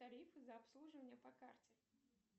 тарифы за обслуживание по карте